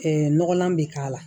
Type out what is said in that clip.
nɔgɔnlan bɛ k'a la